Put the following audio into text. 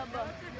Qoy qalsın.